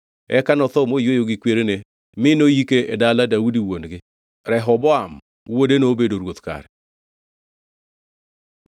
Eka notho moyweyo gi kwerene mi noyike e dala Daudi wuon-gi. Rehoboam wuode nobedo ruoth kare.